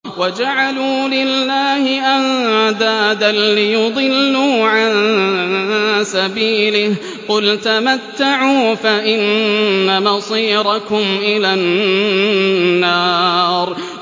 وَجَعَلُوا لِلَّهِ أَندَادًا لِّيُضِلُّوا عَن سَبِيلِهِ ۗ قُلْ تَمَتَّعُوا فَإِنَّ مَصِيرَكُمْ إِلَى النَّارِ